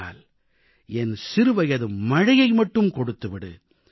ஆனால் என் சிறுவயது மழையை மட்டும் கொடுத்துவிடு